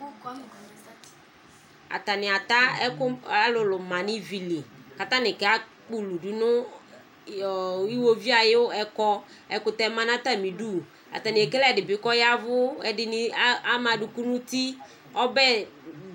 Atani ata ɛkʋ alʋlʋ manʋ ivili kʋ atani kakpɔ ʋlʋ dʋnʋ nʋ iwoviʋ ayʋ ɛkɔ kʋ ɛkʋtɛ manʋ atalibidʋ atani ekele ɛdibi kʋ aya ɛvʋ kʋ ɛdini ama adʋkʋ nʋ ʋti